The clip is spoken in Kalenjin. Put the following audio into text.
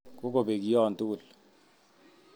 Kokobek kiyon tugul